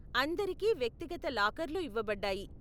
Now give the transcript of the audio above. అందరికి వ్యక్తిగత లాకర్లు ఇవ్వబడ్డాయి.